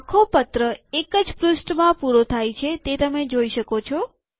આખો પત્ર એક જ પૃષ્ઠમાં પૂરો થાય છે તે તમે જોઈ શકો છો